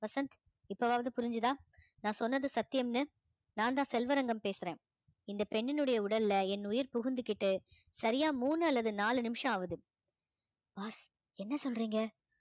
வசந்த் இப்பவாவது புரிஞ்சுதா நான் சொன்னது சத்தியம்னு நான்தான் செல்வரங்கம் பேசுறேன் இந்த பெண்ணினுடைய உடல்ல என் உயிர் புகுந்துகிட்டு சரியா மூணு அல்லது நாலு நிமிஷம் ஆவுது boss என்ன சொல்றீங்க